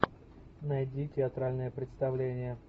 найди театральное представление